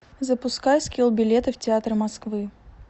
запускай скилл билеты в театры москвы